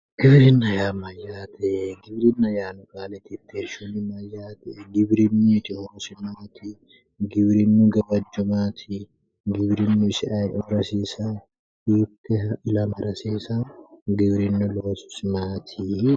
Giwirinba yaa mayyaate? Giwirinna yaanno qaale tittirshuyi mayyate? Giwirinnuyiti horosi maati? Giwiriinu gawajjo maati? Giwirinnu ayioora hasiisayo? Giwirinnu hiittee ilamara hasiisayo? Giwirinnu loosi isi maati?